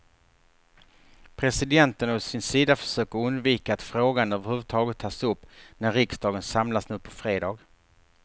Presidenten å sin sida försöker undvika att frågan överhuvudtaget tas upp när riksdagen samlas nu på fredag.